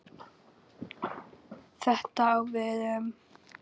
Þetta á við um